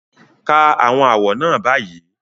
Ka àwọn àwọ̀ náà báyìí